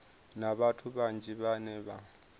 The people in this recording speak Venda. na vhathu vhanzhi vhane vha